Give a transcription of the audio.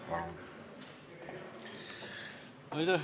Palun!